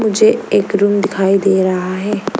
मुझे एक रूम दिखाई दे रहा है।